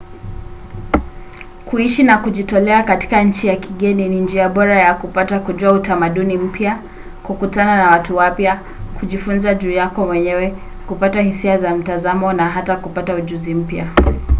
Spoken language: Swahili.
kuishi na kujitolea katika nchi ya kigeni ni njia bora ya kupata kujua utamaduni mpya kukutana na watu wapya kujifunza juu yako mwenyewe kupata hisia za mtazamo na hata kupata ujuzi mpya